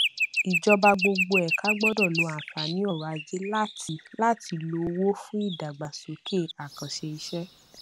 ìjọba gbogbo ẹka gbọdọ lo àǹfààní ọrọajé láti láti lo owó fún ìdàgbàsókè àkànṣeiṣẹ